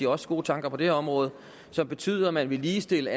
også gode tanker på det her område som betyder at man vil ligestille